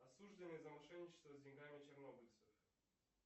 осужденный за мошенничество с деньгами чернобыльцев